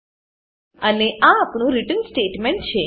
અને આ આપણું રિટર્ન સ્ટેટમેન્ટ રીટર્ન સ્ટેટમેંટ છે